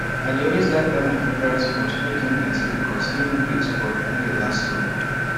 i de always like buy my favourite sponge make e plenty because e no quick spoil e dey last long